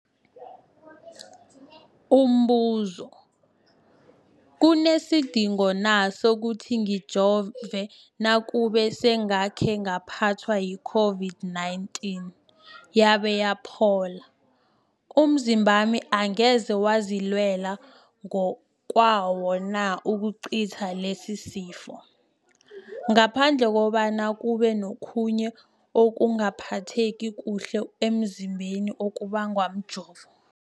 Umbuzo, kunesidingo na sokuthi ngijove nakube sengakhe ngaphathwa yi-COVID-19 yabe yaphola? Umzimbami angeze wazilwela ngokwawo na ukucitha lesisifo, ngaphandle kobana kube nokhunye ukungaphatheki kuhle emzimbeni okubangwa mjovo?